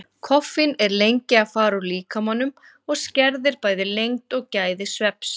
Koffín er lengi að fara úr líkamanum og skerðir bæði lengd og gæði svefns.